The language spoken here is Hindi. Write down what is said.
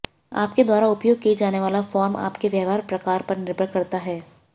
आपके द्वारा उपयोग किया जाने वाला फॉर्म आपके व्यापार प्रकार पर निर्भर करता है